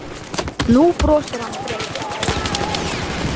Nú brosir hann breitt.